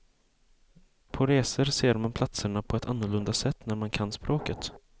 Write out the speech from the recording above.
På resor ser man platserna på ett annorlunda sätt när man kan språket.